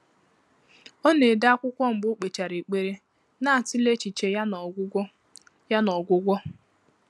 Ọ́ nà-édé ákwụ́kwọ́ mgbè ọ́ kpèchàrà ékpèré, nà-àtụ́lé échíché yá nà ọ́gwụ́gwọ́. yá nà ọ́gwụ́gwọ́.